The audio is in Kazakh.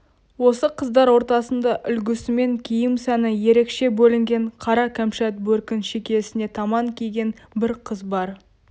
осы қыздар ортасында үлгісімен киім сәні ерекше бөлінген қара кәмшат бөркін шекесіне таман киген бір қыз бар